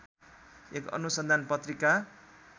एक अनुसन्धान पत्रिका